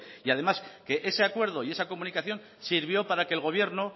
y además que ese acuerdo y esa comunicación sirvió para que el gobierno